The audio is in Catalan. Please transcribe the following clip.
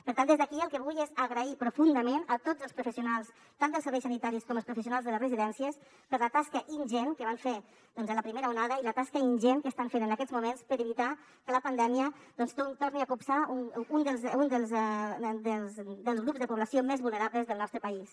per tant des d’aquí el que vull és agrair profundament a tots els professionals tant dels serveis sanitaris com els professionals de les residències la tasca ingent que van fer doncs en la primera onada i la tasca ingent que estan fent en aquests moments per evitar que la pandèmia torni a copsar un dels grups de població més vulnerables del nostre país